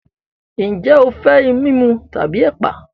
Ǹjẹ́ o fẹ́ ìmumu tàbí ẹ̀pà?